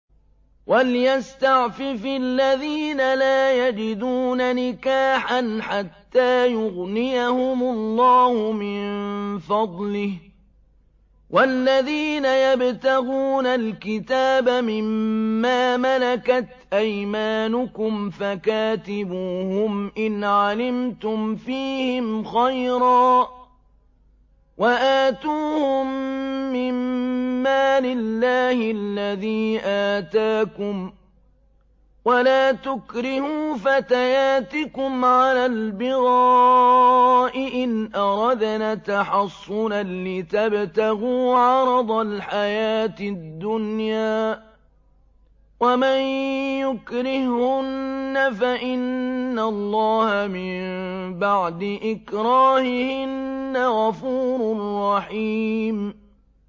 وَلْيَسْتَعْفِفِ الَّذِينَ لَا يَجِدُونَ نِكَاحًا حَتَّىٰ يُغْنِيَهُمُ اللَّهُ مِن فَضْلِهِ ۗ وَالَّذِينَ يَبْتَغُونَ الْكِتَابَ مِمَّا مَلَكَتْ أَيْمَانُكُمْ فَكَاتِبُوهُمْ إِنْ عَلِمْتُمْ فِيهِمْ خَيْرًا ۖ وَآتُوهُم مِّن مَّالِ اللَّهِ الَّذِي آتَاكُمْ ۚ وَلَا تُكْرِهُوا فَتَيَاتِكُمْ عَلَى الْبِغَاءِ إِنْ أَرَدْنَ تَحَصُّنًا لِّتَبْتَغُوا عَرَضَ الْحَيَاةِ الدُّنْيَا ۚ وَمَن يُكْرِههُّنَّ فَإِنَّ اللَّهَ مِن بَعْدِ إِكْرَاهِهِنَّ غَفُورٌ رَّحِيمٌ